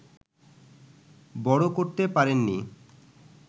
বড় করতে পারেননি